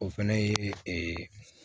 O fɛnɛ ye ee